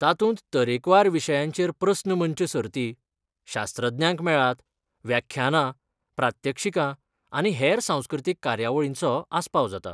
तातूंत तरेकवार विशयांचेर प्रस्न मंच सर्ती, शास्त्रज्ञांक मेळात, व्याख्यानां, प्रात्यक्षिकां आनी हेर सांस्कृतीक कार्यावळींचो आस्पाव जाता.